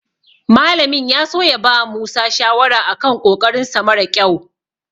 Malamin ya so ya bawa Musa shawara a kan ƙoƙarinsa mara ƙyau.